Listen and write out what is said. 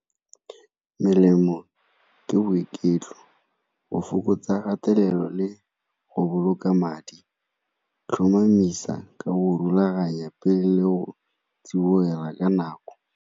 Melemo ke boiketlo, go fokotsa kgatelelo, le go boloka madi. Tlhomamisa ka go rulaganya pele le go tsibogela ka nako.